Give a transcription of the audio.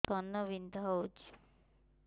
କାନ ବିନ୍ଧା ହଉଛି